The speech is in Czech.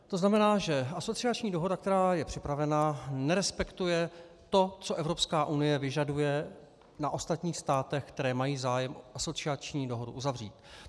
To znamená, že asociační dohoda, která je připravena, nerespektuje to, co Evropská unie vyžaduje na ostatních státech, které mají zájem asociační dohodu uzavřít.